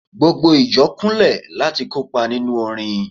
gbogbo ìjọ Kunle lati kopa ninu orin